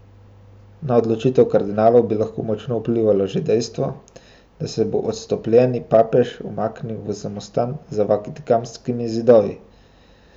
Na odločitev kardinalov bi lahko močno vplivalo že dejstvo, da se bo odstopljeni papež umaknil v samostan za vatikanskimi zidovi.